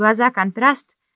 глаза-контраст